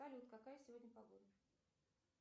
салют какая сегодня погода